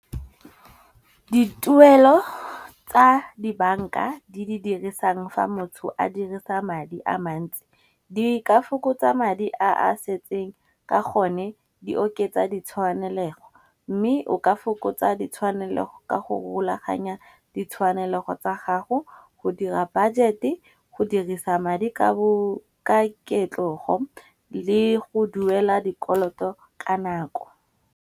Dituelo tsa di banka di dirisang fa motho a dirisa madi a mantsi. Di ka fokotsa madi a a setseng, ka gone di oketsa ditshwanelego mme o ka fokotsa ditshwanelego ka go rulaganya ditshwanelego tsa gago, go dira budget-e, go dirisa madi ka ketlogo le go duela dikoloto ka nako.